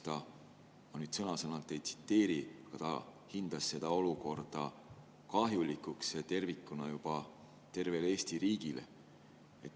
Ma nüüd sõna-sõnalt ei tsiteeri, aga tema hinnangul on olukord kahjulik juba tervele Eesti riigile.